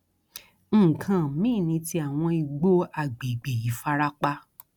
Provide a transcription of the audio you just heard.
nǹkan mìín ni ti àwọn igbó àgbègbè ìfarapa